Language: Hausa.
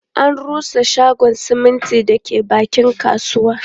An rusa shagon siminti da ke bakin kasuwa